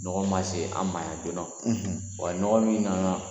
Nɔgɔn ma se an ma yan joona. . Wa ɲɔgɔn min nana